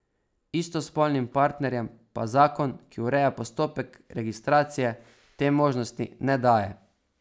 Istospolnim partnerjem pa zakon, ki ureja postopek registracije, te možnosti ne daje.